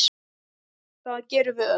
Það gerum við öll.